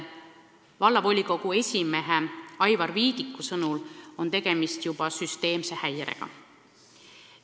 Vallavolikogu esimehe Aivar Viidiku sõnul on tegemist juba süsteemse häirega.